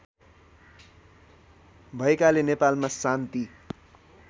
भएकाले नेपालमा शान्ति